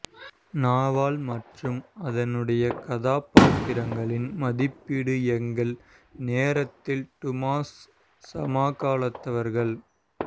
நாவல் மற்றும் அதனுடைய கதாபாத்திரங்களின் மதிப்பீட்டு எங்கள் நேரத்தில் டுமாஸ் சமகாலத்தவர்கள்